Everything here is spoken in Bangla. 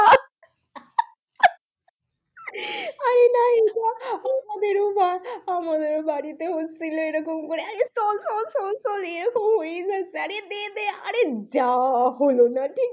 আরে নাই এটা আমাদেরও বা আমাদেরও বাড়িতে হচ্ছিল এরকম করে আরে চল, চল, চল, চল এরকম হয়েই যাচ্ছে আরে দে দে আরে যাহ হলো না ঠিক,